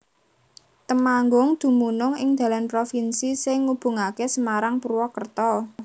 Temanggung dumunung ing dalan provinsi sing ngubungaké Semarang Purwakerta